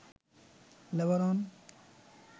Lebanon